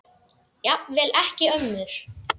Jafnvel ekki ömmur.